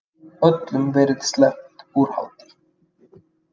Öllum verið sleppt úr haldi